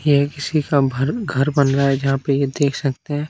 ये किसी का भर घर बन रहा जहां पे देख सकते हैं।